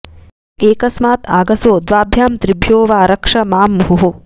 एकस्मात् आगसो द्वाभ्यां त्रिभ्यो वा रक्ष मां मुहुः